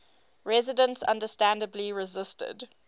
residents understandably resisted